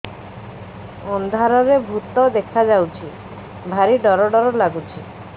ଅନ୍ଧାରରେ ଭୂତ ଦେଖା ଯାଉଛି ଭାରି ଡର ଡର ଲଗୁଛି